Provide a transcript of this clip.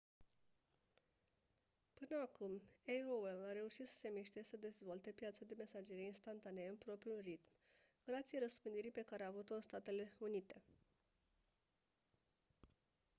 până acum aol a reușit să se miște și să dezvolte piața de mesagerie instantanee în propriul ritm grație răspândirii pe care a avut-o în statele unite